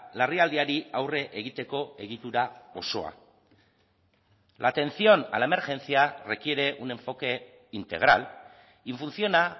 larrialdiari aurre egiteko egitura osoa la atención a la emergencia requiere un enfoque integral y funciona